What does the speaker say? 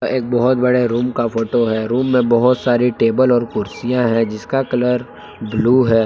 एक बहोत बड़े रुम का फोटो है रुम में बहोत सारी टेबल और कुर्सियां है जिसका कलर ब्लू है।